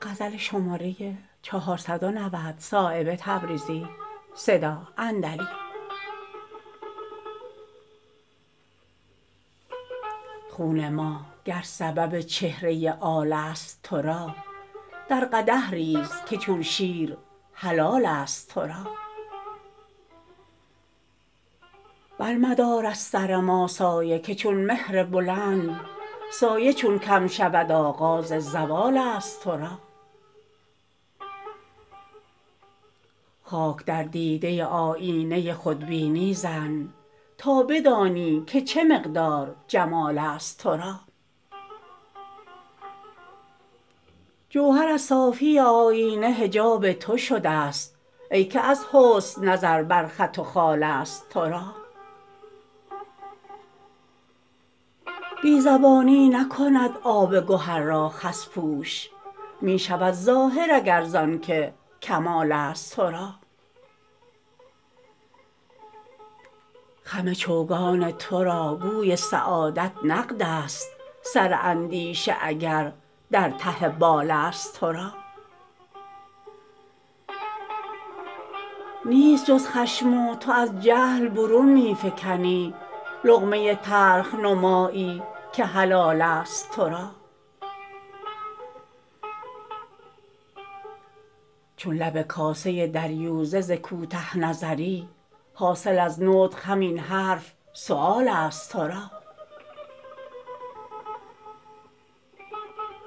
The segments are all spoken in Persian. خون ما گر سبب چهره آل است ترا در قدح ریز که چون شیر حلال است ترا بر مدار از سر ما سایه که چون مهر بلند سایه چون کم شود آغاز زوال است ترا خاک در دیده آیینه خودبینی زن تا بدانی که چه مقدار جمال است ترا جوهر از صافی آیینه حجاب تو شده است ای که از حسن نظر بر خط و خال است ترا بی زبانی نکند آب گهر را خس پوش می شود ظاهر اگر زان که کمال است ترا خم چوگان ترا گوی سعادت نقدست سر اندیشه اگر در ته بال است ترا نیست جز خشم و تو از جهل برون می فکنی لقمه تلخ نمایی که حلال است ترا چون لب کاسه دریوزه ز کوته نظری حاصل از نطق همین حرف سؤال است ترا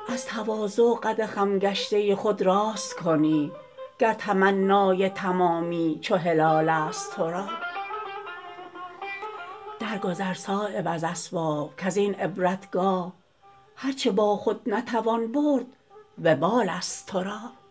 از تواضع قد خم گشته خود راست کنی گر تمنای تمامی چو هلال است ترا در گذر صایب از اسباب کز این عبرتگاه هر چه با خود نتوان برد وبال است ترا